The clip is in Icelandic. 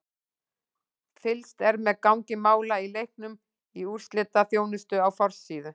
Fylgst er með gangi mála í leiknum í úrslitaþjónustu á forsíðu.